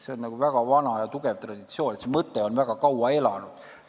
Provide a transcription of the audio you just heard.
See on väga vana ja tugev traditsioon, see mõte on väga kaua elanud.